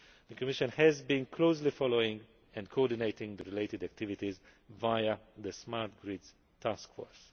The Commission has been closely following and coordinating the related activities via the Smart Grid Task Force.